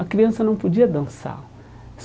A criança não podia dançar.